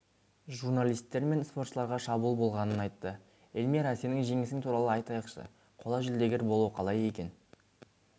журналистер мен спортшыларға шабуыл болғанын айтты эльмира сенің жеңісің туралы айтайықшы қола жүлдегер болу қалай екен